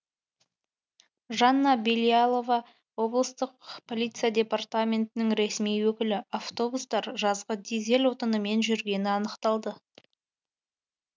жанна белялова облыстық полиция департаментінің ресми өкілі автобустар жазғы дизель отынымен жүргені анықталды